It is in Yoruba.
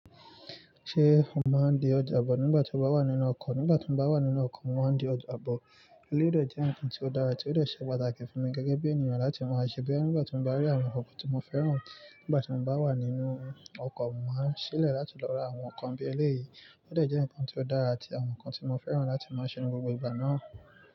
Ṣé o máa ń di ọjà bọ̀ nígbà tí o bá wà nínú ọkọ̀? Nígbà tí mo bá wà nínú ọkọ̀, mo máa ń di ọjà abọ̀. Eléyii de jẹ́ nǹkan tí ó dára tí ó de ṣe pàtàkì fún mi gẹ́gẹ́ bí ènìyàn láti máa ṣe bẹ́ẹ̀. Nígbà tí mo bá rí àwọn nǹkan tí mo fẹ́ràn, nígbà tí mo bá wà nínú ọkọ̀, mo máa ń ṣi ile láti lọ ra àwọn nǹkan bí ẹlẹ́yií. Ó de jẹ́ nǹkan tí ó dára àti àwọn nǹkan tí mo fẹ́ràn láti máa ṣe ní gbogbo ìgbà náà.